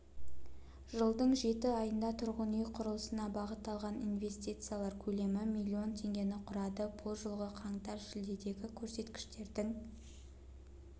жылдың жеті айында тұрғын үй құрылысына бағытталған инвестициялар көлемі млн теңгені құрады бұл жылғы қаңтар-шілдедегі көрсеткіштердің